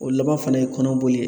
O laban fana ye kɔnɔboli ye.